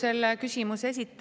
Aitäh!